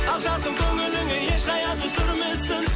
ақ жарқын көңіліңе еш қайғы түсірмесін